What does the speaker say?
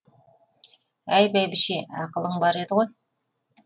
әй бәйбіше ақылың бар еді ғой